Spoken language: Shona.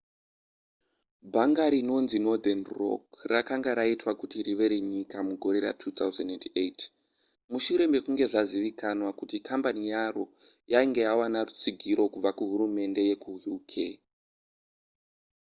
bhanga rinonzi northern rock rakanga raitwa kuti rive renyika mugore ra2008 mushure mekunge zvazivikanwa kuti kambani yaro yainge yawana rutsigiro kubva kuhurumende yekuuk